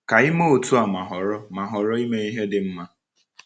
Ka i mee otu a ma họrọ a ma họrọ ime ihe dị mma!